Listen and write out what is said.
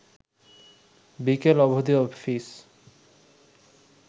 বিকেল অবধি অফিস